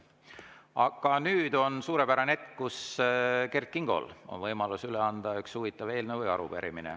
Aga nüüd on suurepärane hetk, kus Kert Kingol on võimalus üle anda üks huvitav eelnõu või arupärimine.